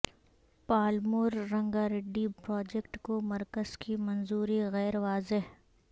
Palamuru Rangareddy project کو مرکز کی منظوری غیر واضح